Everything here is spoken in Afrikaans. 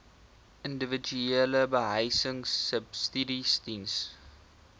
individuele behuisingsubsidies diens